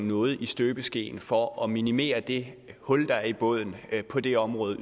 noget i støbeskeen for yderligere at minimere det hul der er i båden på det område